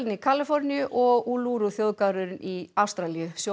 í Kaliforníu og þjóðgarðurinn í Ástralíu